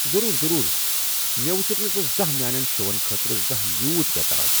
ضروٗر ،ضروٗر ، مےٚ وٕچھُکھ نہٕ ژٕ میٛانٮ۪ن شوَن خٲطرٕ زانٛہہ یوٗت بے٘تاب ۔